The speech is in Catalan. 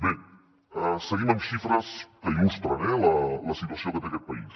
bé seguim amb xifres que il·lustren eh la situació que té aquest país